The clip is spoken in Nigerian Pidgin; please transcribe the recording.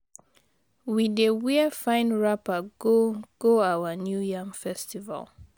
We dey wear fine wrapper go go our New Yam Festival.